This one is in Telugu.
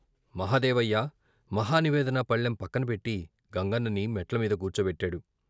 మహదేవయ్య మహా నివేదన పళ్లెం పక్కన పెట్టి గంగన్నని మెట్లమీద కూర్చోపెట్టాడు.